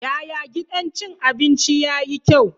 Yaya gidan cin abinci yayi kyau?